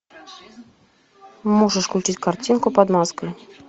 можешь включить картинку под маской